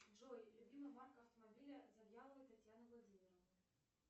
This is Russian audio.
джой любимая марка автомобиля завьяловой татьяны владимировны